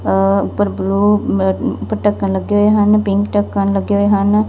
ਉਪਰ ਬਲੂ ਢੱਕਣ ਲੱਗੇ ਹੋਏ ਹਨ ਪਿੰਕ ਢੱਕਣ ਲੱਗੇ ਹੋਏ ਹਨ।